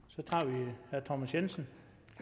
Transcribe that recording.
at thomas jensen